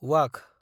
वाघ